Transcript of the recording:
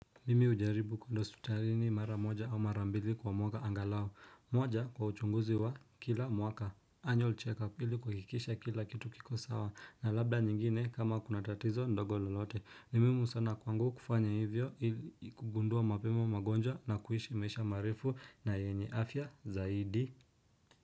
Mimi hujaribu kuenda hospitalini mara moja au mara mbili kwa mwaka angalau moja kwa uchunguzi wa kila mwaka anual check up ili kukikisha kila kitu kiko sawa na labda nyingine kama kuna tatizo ndogo lolote ni muhimu sana kwangu kufanya hivyo ili kugundua mapema magonjwa na kuishi maisha marefu na yenye afya zaidi.